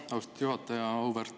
Aitäh, austatud juhataja!